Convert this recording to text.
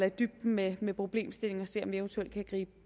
i dybden med med problemstillingen og se om vi eventuelt kan gribe